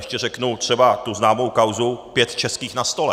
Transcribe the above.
Ještě řeknu třeba tu známou kauzu pět českých na stole.